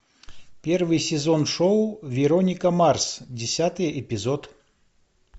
первый сезон шоу вероника марс десятый эпизод